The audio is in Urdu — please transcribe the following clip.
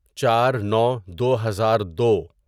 چار نو دو ہزار دو